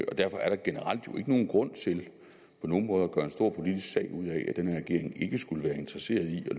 og derfor er der generelt jo ikke nogen grund til på nogen måde at gøre en stor politisk sag ud af at den her regering ikke skulle være interesseret i at